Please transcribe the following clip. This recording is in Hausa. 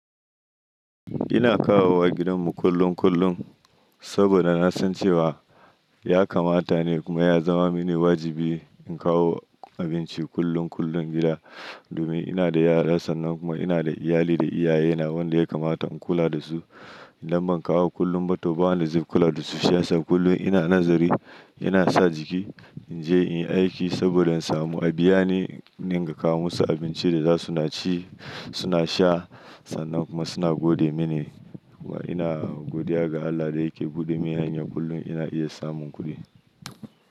Ina kawo wa gidanmu kullum kullum saboda na san cewa ya kamata ne kuma ya zama mini wajibi in kawo abinci kullum kullum gida. Domin ina da yara sannan kuma ina da iyali da iyaye. Na wanda ya kamata in kula da su. Idan ban kawo kullum ba to ba wanda zai kula da su shi ya sa kullum. Ina nazari, ina sa jiki in je in yi aiki saboda in samu a biya ni niga kawo musu abincin da za su na ci, suna sha sannan kuma suna gode mini. Kuma ina godiya ga Allah da yake buɗe min hanya kullum ina iya samun kuɗi.